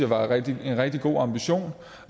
en rigtig god ambition